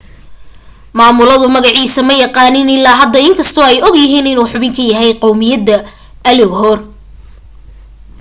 maamuladu magaciisa ma yaqaaniin ilaa hadda in kastoo ay og yihiin inuu xubin ka yahay qawmiyadda uighur